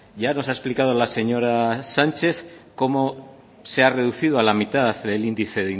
ya nos ha explicado la señora sánchez como se ha reducido a la mitad el índice